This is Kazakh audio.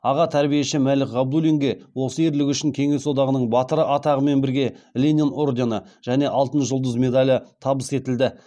аға тәрбиеші мәлік ғабдуллинге осы ерлігі үшін кеңес одағының батыры атағымен бірге ленин ордені және алтын жұлдыз медалі табыс етілді